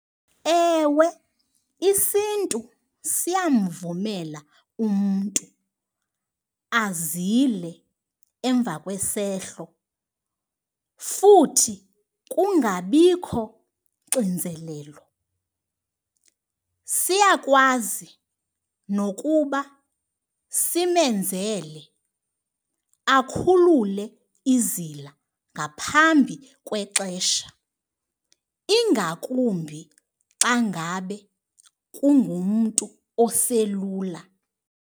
Ewe, isiNtu siyamvumela umntu azile emva kwesehlo futhi kungabikho xinzelelo. Siyakwazi nokuba simenzele akhulule izila ngaphambi kwexesha ingakumbi xa ngabe kungumntu oselula.